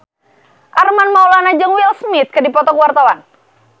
Armand Maulana jeung Will Smith keur dipoto ku wartawan